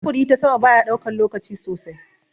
Sufuri ta sama bayaɗaukan lokaci sosai.